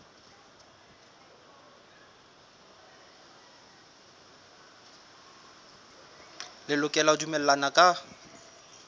le lokela ho dumellana ka